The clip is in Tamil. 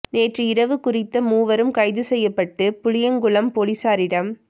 நேற்று இரவு குறித்த மூவரும் கைது செய்யப்பட்டு புளியங்குளம் பொலிசாரிடம்